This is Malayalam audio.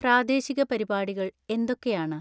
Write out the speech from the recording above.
പ്രാദേശിക പരിപാടികൾ എന്തൊക്കെയാണ്